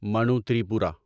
Manu Tripura